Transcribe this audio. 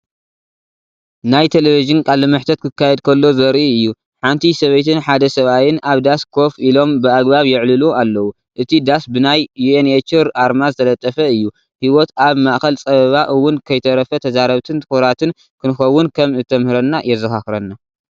ናይ ቴሌቪዥን ቃለ መሕትት ክካየድ ከሎ ዘርኢ እዩ። ሓንቲ ሰበይትን ሓደ ሰብኣይን ኣብ ዳስ ኮፍ ኢሎም ብኣገባብ ይዕልሉ ኣለዉ። እቲ ዳስ ብናይ ዩኤንኤችር ኣርማ ዝተለጠፈ እዩ። ህይወት ኣብ ማእከል ጸበባ እውን ከይተረፈ ተዛረብትን ትኩራትን ክንከውን ከም እትምህረና የዘኻኽረና።